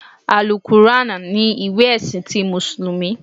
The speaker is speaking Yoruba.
Àlùkùránà ni ìwé ẹ̀sìn ti mùsùlùmí